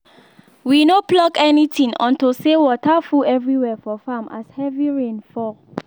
we no pluck anything unto say water full every where for farm as heavy rain fall